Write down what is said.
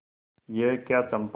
यह क्या चंपा